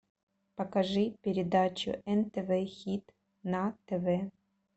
покажи передачу нтв хит на тв